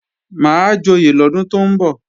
Máa joyè lọ́dún tó ń bọ̀